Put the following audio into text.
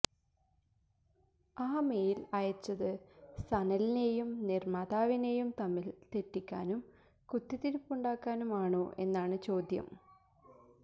ആ മെയിൽ അയച്ചത് സനലിനെയും നിർമ്മാതാവിനെയും തമ്മിൽ തെറ്റിക്കാനും കുത്തിത്തിരിപ്പുണ്ടാക്കാനും ആണോ എന്നാണ് ചോദ്യം